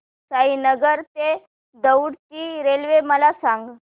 साईनगर ते दौंड ची रेल्वे मला सांग